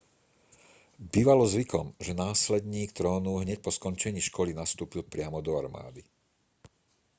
bývalo zvykom že následník trónu hneď po skončení školy nastúpil priamo do armády